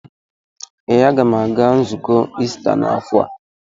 Ee, a ga m aga nzukọ Ista n'afọ a.